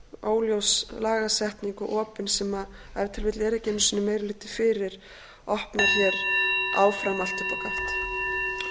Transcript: en óljós lagasetning og opin sem ef til vill er ekki einu sinni meiri hluti fyrir opnar hér áfram allt upp á gátt